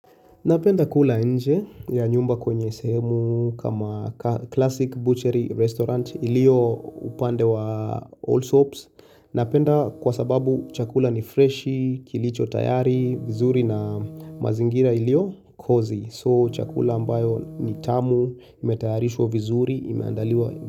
Napenda kula nje ya nyumba kwenye sehemu kama classic butchery restaurant ilio upande wa all soaps. Napenda kwa sababu chakula ni freshi, kilicho tayari, vizuri na mazingira ilio cozy. So chakula ambayo ni tamu, imetayarishwa vizuri, imeandaliwa.